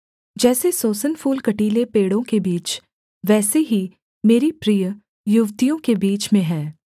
जैसे सोसन फूल कटीले पेड़ों के बीच वैसे ही मेरी प्रिय युवतियों के बीच में है